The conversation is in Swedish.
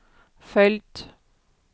följt